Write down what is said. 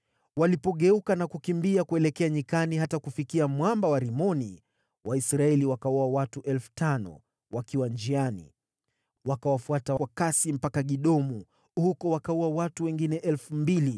Walipogeuka na kukimbia kuelekea nyikani hata kufikia mwamba wa Rimoni, Waisraeli wakawaua watu 5,000 wakiwa njiani. Wakawafuata kwa kasi mpaka Gidomu huko wakawaua watu wengine 2,000.